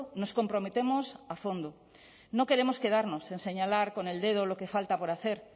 nos comprometemos a fondo no queremos quedarnos en señalar con el dedo lo que falta por hacer